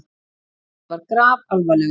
Fúsi var grafalvarlegur.